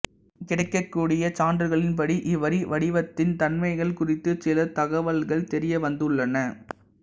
கிடைக்ககூடிய சான்றுகளின்படி இவ்வரிவடிவத்தின் தன்மைகள் குறித்துச் சில தகவல்கள் தெரியவந்துள்ளன